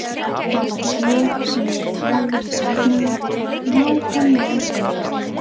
Það var hér sem ég talaði við Dagnýju, nákvæmlega hér.